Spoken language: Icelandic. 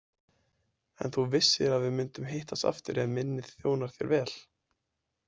En þú vissir að við mundum hittast aftur ef minnið þjónar þér vel.